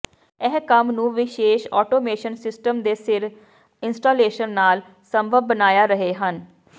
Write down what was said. ਇਹ ਕੰਮ ਨੂੰ ਵਿਸ਼ੇਸ਼ ਆਟੋਮੇਸ਼ਨ ਸਿਸਟਮ ਦੇ ਸਿਰ ਇੰਸਟਾਲੇਸ਼ਨ ਨਾਲ ਸੰਭਵ ਬਣਾਇਆ ਰਹੇ ਹਨ